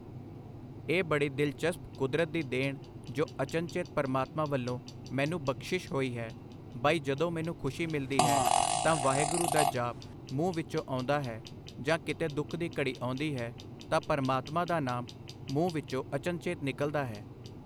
ਇਹ ਬੜੀ ਦਿਲਚਸਪ ਕੁਦਰਤ ਦੀ ਦੇਣ ਜੋ ਅਚਨਚੇਤ ਪਰਮਾਤਮਾ ਵੱਲੋਂ ਮੈਨੂੰ ਬਖਸ਼ਿਸ਼ ਹੋਈ ਹੈ, ਬਈ ਜਦੋਂ ਮੈਨੂੰ ਖੁਸ਼ੀ ਮਿਲਦੀ ਹੈ ਤਾਂ ਵਾਹਿਗੁਰੂ ਦਾ ਜਾਪ ਮੂੰਹ ਵਿਚੋਂ ਆਉਂਦਾ ਹੈ, ਜਾਂ ਕਿਤੇ ਦੁੱਖ ਦੀ ਘੜੀ ਆਉਂਦੀ ਹੈ ਤਾਂ ਪਰਮਾਤਮਾ ਦਾ ਨਾਮ ਮੂੰਹ ਵਿੱਚੋਂ ਅਚਨਚੇਤ ਨਿਕਲਦਾ ਹੈ।